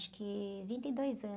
acho que, vinte e dois anos.